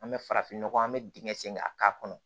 An bɛ farafinnɔgɔ an bɛ dingɛ sen ka k'a kɔnɔ